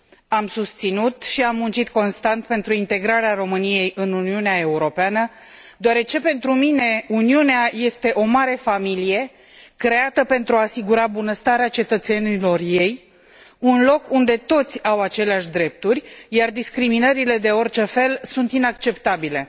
Am susținut și am muncit constant pentru integrarea României în Uniunea Europeană, deoarece, pentru mine, Uniunea este o mare familie, creată pentru a asigura bunăstarea cetățenilor ei, un loc unde toți au aceleași drepturi, iar discriminările de orice fel sunt inacceptabile.